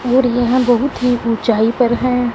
और यहां बहुत ही ऊंचाई पर हैं।